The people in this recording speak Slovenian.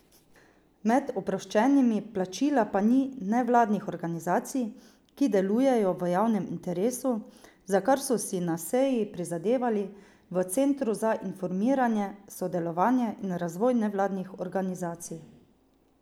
Med oproščenimi plačila pa ni nevladnih organizacij, ki delujejo v javnem interesu, za kar so si na seji prizadevali v Centru za informiranje, sodelovanje in razvoj nevladnih organizacij.